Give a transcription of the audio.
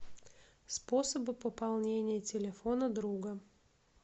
способы пополнения телефона друга